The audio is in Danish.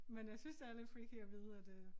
Men jeg synes det er lidt freaky at vide at øh